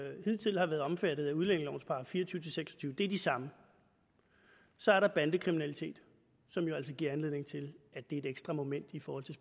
hidtil har været omfattet af udlændingelovens § fire og tyve til seks og tyve er de samme så er der bandekriminalitet som jo altså giver anledning til at det er et ekstra moment i forhold til